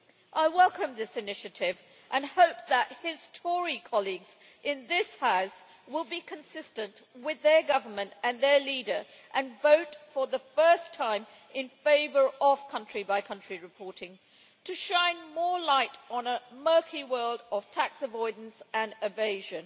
I welcome this initiative, and hope that his Tory colleagues in this House will be consistent with their government and their leader and vote for the first time in favour of country-by-country reporting to shine more light on a murky world of tax avoidance and evasion.